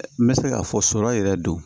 N bɛ se k'a fɔ sɔrɔ yɛrɛ don